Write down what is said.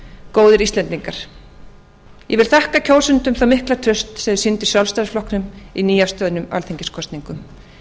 góðir íslendingar ég vil þakka kjósendum það mikla traust sem ég hef fundið í sjálfstæðisflokknum í nýafstöðnum alþingiskosningum